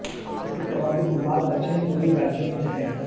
इसके प्रारंभिक मार्ग दक्षिणी पूर्वी राज्यों में से थे